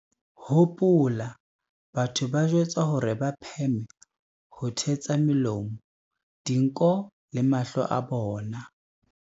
Hopola, batho ba jwetswa hore ba pheme ho thetsa melomo, dinko le mahlo a bona.